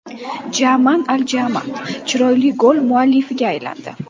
Jamaan Al Jamaan chiroyli gol muallifiga aylandi.